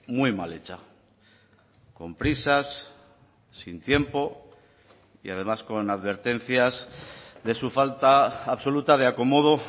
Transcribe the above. muy mal hecha con prisas sin tiempo y además con advertencias de su falta absoluta de acomodo